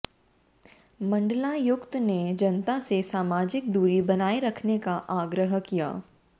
मंडलायुक्त ने जनता से सामाजिक दूरी बनाए रखने का आग्रह किया